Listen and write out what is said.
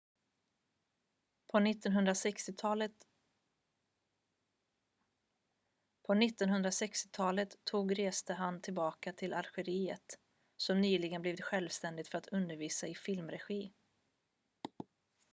på 1960-talet tog reste han tillbaka till algeriet som nyligen blivit självständigt för att undervisa i filmregi